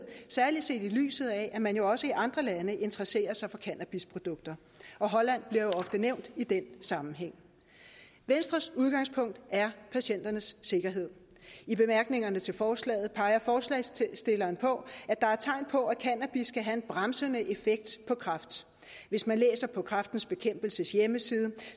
særlig set i lyset af at man jo også i andre lande interesserer sig for cannabisprodukter holland bliver jo ofte nævnt i den sammenhæng venstres udgangspunkt er patienternes sikkerhed i bemærkningerne til forslaget peger forslagsstilleren på at der er tegn på at cannabis kan have en bremsende effekt på kræft hvis man læser på kræftens bekæmpelses hjemmeside